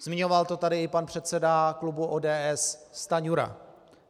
Zmiňoval to tady i pan předseda klubu ODS Stanjura.